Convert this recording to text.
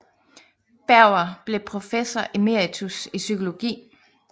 Berger blev professor emeritus i psykologi